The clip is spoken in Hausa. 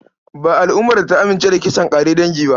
Ba al'umar da ta amince da kisan ƙare dangi.